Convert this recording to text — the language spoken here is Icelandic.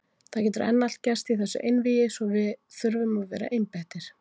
Það getur enn allt gerst í þessu einvígi svo við þurfum að vera einbeittir.